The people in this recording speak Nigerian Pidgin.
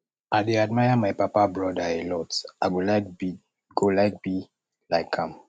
i dey admire my papa broda a lot i go like be go like be like am